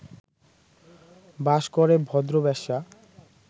বাস করে ভদ্র বেশ্যা